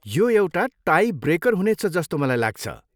यो एउटा tie breaker हुनेछ जस्तो मलाई लाग्छ।